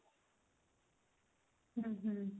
hm hm